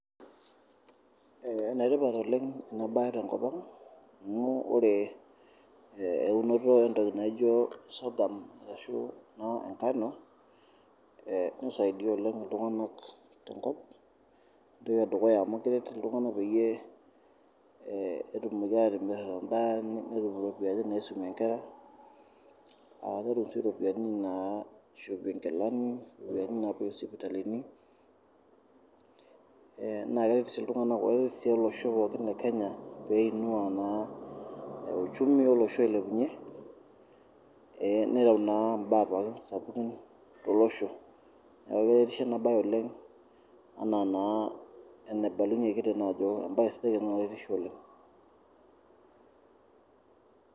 Enetipat oleng en baye te nkopang amuu ore eunoto entoki naijo soghum ashu naa engano neisaidia naa oleng oltunganak te nkop, entoki edukuya amu keret ltunganak peyie etumoki aatimir indaa netum iropiyiani naisumie inkera aaku ore oshi iropiyiani naa aishopie inkilani, iropiyiani naapoyieki sipitalini naa keret sii ltunganak otii olosho pookin le [cs[kenya peinuaa naa euchumi elosho ailepunye neyau naa imbaa pookin sapuki to losho neaku eretisho ena baye oleng ena naa eneibalunyeki tene ajoo embaye sidai naa keretisho oleng.